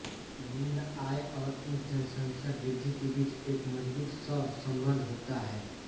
निम्न आय और उच्च जनसंख्या वृद्धि के बीच एक मजबूत सहसंबंध होता है